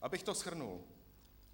Abych to shrnul.